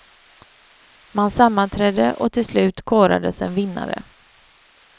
Man sammanträdde och till slut korades en vinnare.